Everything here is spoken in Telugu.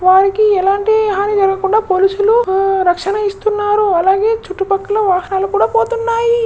వాళ్ళకి ఎలాంటి హాని కలగకుండా పోలీసులు రక్షణ ఇస్తున్నారు అలాగే చుట్టూపక్కల వాహనాలు కూడా పోతున్నాయి.